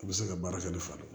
U bɛ se ka baara kɛ ni fa ye